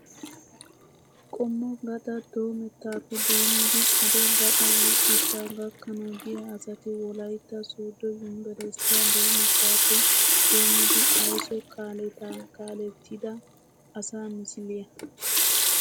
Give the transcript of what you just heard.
Qommo gaxaa doomettaappe doommidi xade gaxaa wurssettaa gakkanawu diya asati wolayitta sooddo yunbburisttiyaa doomettaappe doommidi ayiso kaaletaa kaalettida asaa miisiliyaa.